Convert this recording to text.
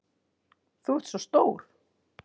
Þú ert svo stór.